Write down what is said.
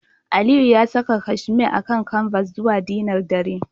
Aliyu ya saka casheme akan canvas zuwa dinner dare